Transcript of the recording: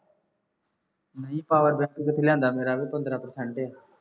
ਨਹੀਂ power bank ਕਿੱਥੋ ਲਿਆਦਾ ਮੇਰਾ ਵੀ ਪੰਦਰਾ percent ਹੈ